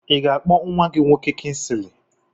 I ga-akpọ nwa gị nwoke Kinsili?